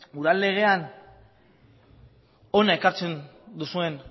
udal legean hona ekartzen duzuen